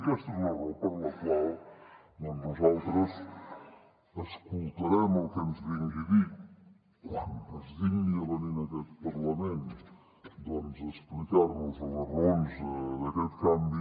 i aquesta és la raó per la qual doncs nosaltres escoltarem el que ens vingui a dir quan es digni a venir en aquest parlament a explicar nos les raons d’aquest canvi